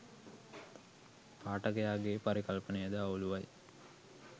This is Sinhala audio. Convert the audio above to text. පාඨකයාගේ පරිකල්පනයද අවුලුවයි